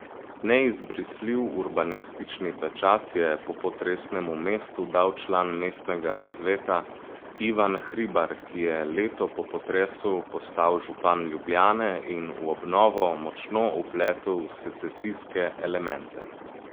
Neizbrisljiv urbanistični pečat je popotresnemu mestu dal član mestnega sveta Ivan Hribar, ki je leto po potresu postal župan Ljubljane in v obnovo močno vpletel secesijske elemente.